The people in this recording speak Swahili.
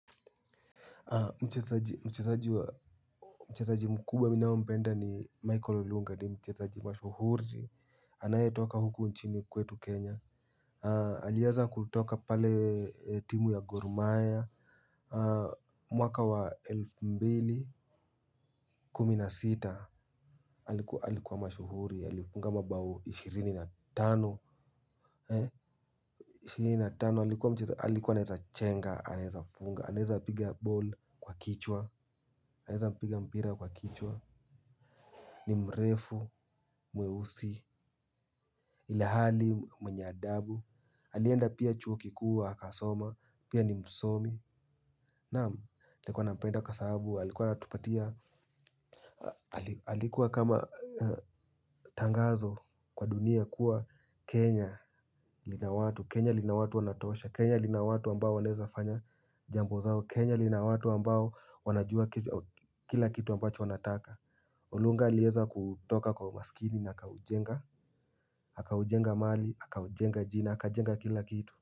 Mchezaji mkubwa mimi ninayempenda ni Michael Olunga ni mchezaji mashuhuri. Anaye toka huku nchini kwetu Kenya. Alianza kutoka pale timu ya Gorumaya. Mwaka wa elfu mbili na kumi na sita, alikuwa mashuhuri, alifunga mabao ishirini na tano. Alikuwa anaweza chenga, anaweza funga, anaweza piga ball kwa kichwa anaweza piga mpira kwa kichwa. Ni mrefu, mweusi. Ilhali mwenye adabu. Alienda pia chuo kikuu, akasoma. Pia ni msomi. Naam, nilikuwa nampenda kwa sahabu alikuwa anatupatia. Alikuwa kama tangazo kwa dunia. Kuwa Kenya lina watu Kenya lina watu wanatosha Kenya lina watu ambao wanaweza fanya jambo zao Kenya lina watu ambao wanajua kila kitu ambacho wanataka Olunga aliwsza kutoka kwa umaskini na aka ujenga. Haka ujenga mali, aka ujenga jina, aka ujenga kila kitu.